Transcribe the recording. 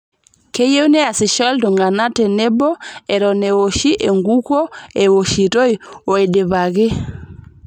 Keyieu neasisho ltung'ana tenebo eton eitu ewoshi enkukuo, ewoshitoi o eidioaki